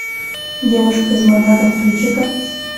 девушка из монако включи ка